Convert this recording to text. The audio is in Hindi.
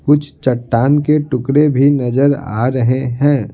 कुछ चट्टान के टुकड़े भी नजर आ रहे हैं.